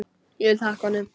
Ég vil þakka honum.